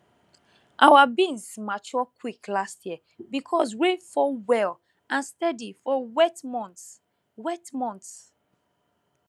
our beans mature quick last year because rain fall well and steady for wet months wet months